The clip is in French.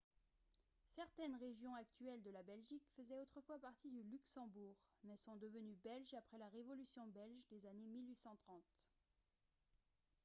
certaines régions actuelles de la belgique faisaient autrefois partie du luxembourg mais sont devenues belges après la révolution belge des années 1830